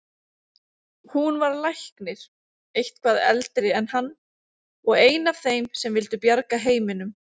Hún var læknir, eitthvað eldri en hann, og ein af þeim sem vildu bjarga heiminum.